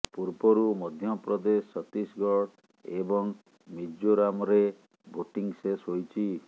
ପୂର୍ବରୁ ମଧ୍ୟପ୍ରଦେଶ ଛତିଶଗଡ଼ ଏବଂ ମିଜୋରାମ୍ରେ ଭୋଟିଂ ଶେଷ ହୋଇଛି